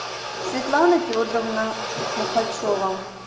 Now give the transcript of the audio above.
светлана федоровна мухачева